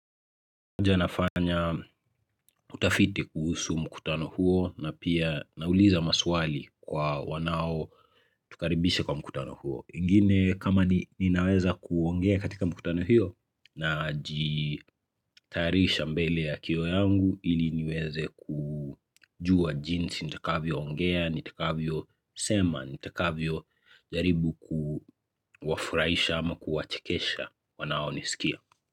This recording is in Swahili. Hoja nafanya utafiti kuhusu mkutano huo na pia nauliza maswali kwa wanao tukaribisha kwa mkutano huo. Ingine kama ninaweza kuongea katika mkutano hiyo najitayarisha mbele ya kioo yangu ili nyeweze kujua jinsi nitakavyo ongea, nitakavyo msema, nitakavyo jaribu kuwafurahisha ama kuwachekesha wanao nisikia.